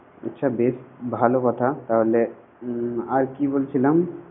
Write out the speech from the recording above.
আচ্ছা বেশ ভালো কথা, তাহলে আর কি বলছিলাম